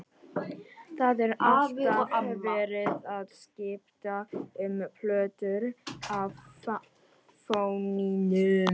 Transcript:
Það er alltaf verið að skipta um plötur á fóninum.